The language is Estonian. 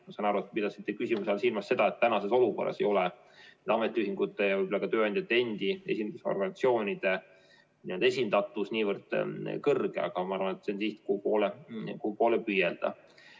Ma saan aru, et te pidasite küsimusega silmas seda, et tänases olukorras ei ole ametiühingute ja võib-olla ka tööandjate endi esindusorganisatsioonide esindatus niivõrd kõrge, aga ma arvan, et see on siht, kuhu poole püüelda.